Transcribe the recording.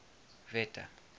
wette